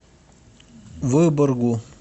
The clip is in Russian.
выборгу